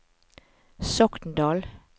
Sokndal